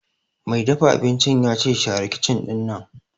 Mai dafa abincin ya ce 'Share kicin ɗinnan'!